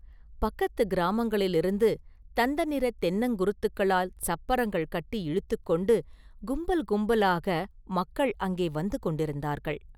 பக்கத்துக் கிராமங்களிலிருந்து, தந்த நிறத் தென்னங்குருத்துகளால் சப்பரங்கள் கட்டி இழுத்துக் கொண்டு கும்பல் கும்பலாக மக்கள் அங்கே வந்து கொண்டிருந்தார்கள்.